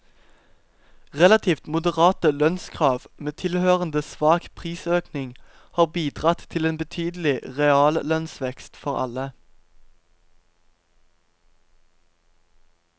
Relativt moderate lønnskrav med tilhørende svak prisøkning har bidratt til en betydelig reallønnsvekst for alle.